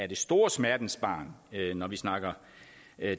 det store smertensbarn når vi snakker